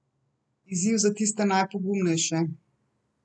Izziv za tiste najpogumnejše?